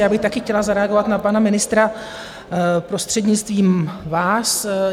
Já bych také chtěla zareagovat na pana ministra, prostřednictvím vás.